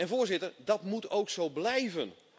Voorzitter, dat moet ook zo blijven.